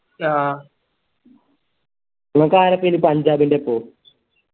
അഹ് ഇങ്ങക്കാരപെനി പഞ്ചാബിൻറെപ്പോ